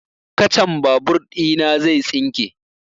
Kacan babur ina zai tsinke